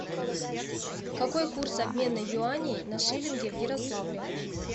какой курс обмена юаней на шиллинги в ярославле